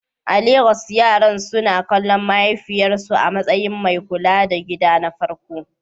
A Legas, yaran suna kallon mahaifiyarsu a matsayin mai kula da gida na farko?